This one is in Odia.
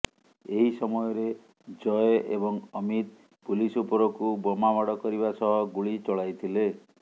ଏହି ସମୟରେ ଜୟ ଏବଂ ଅମିତ ପୁଲିସ ଉପରକୁ ବୋମାମାଡ଼ କରିବା ସହ ଗୁଳି ଚଳାଇଥିଲେ